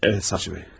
Əvət, Savcı bəy.